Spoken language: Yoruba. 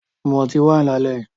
Mu ọtí wáìnì lálẹ́ yìí